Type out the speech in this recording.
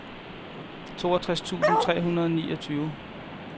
toogtres tusind tre hundrede og niogtyve